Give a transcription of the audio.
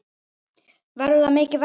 Verður það mikið verra?